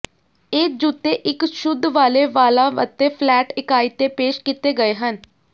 ਇਹ ਜੁੱਤੇ ਇੱਕ ਸ਼ੁੱਧ ਵਾਲ਼ੇ ਵਾਲਾਂ ਅਤੇ ਫਲੈਟ ਇਕਾਈ ਤੇ ਪੇਸ਼ ਕੀਤੇ ਗਏ ਹਨ